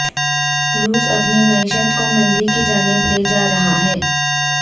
روس اپنی معیشت کو مندی کی جانب لیجا رہا ہے